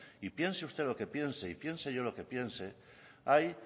y piense usted lo que piense y piense lo que yo piense hay